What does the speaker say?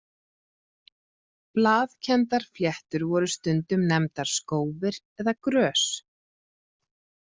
Blaðkenndar fléttur voru stundum nefndar skófir eða grös.